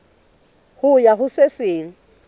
ho ya ho se seng